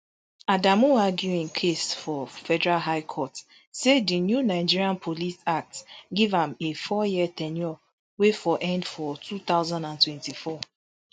adamu argue im case for federal high court say di new nigeria police act give am a fouryear ten ure wey for end for two thousand and twenty-four